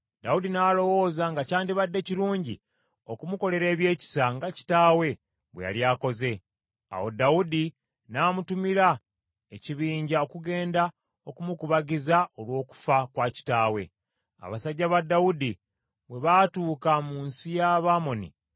Dawudi n’alowooza nga kyandibadde kirungi, okumukolera ebyekisa nga kitaawe bwe yali akoze. Awo Dawudi n’amutumira ekibinja okugenda okumukubagiza olw’okufa kwa kitaawe. Abasajja ba Dawudi bwe baatuuka mu nsi ey’Abamoni,